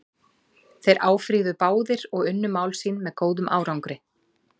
Þeir áfrýjuðu báðir og unnu mál sín með góðum árangri.